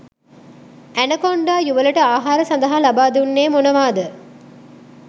Anaconda යුවලට ආහාර සඳහා ලබාදුන්නේ මොනවාද?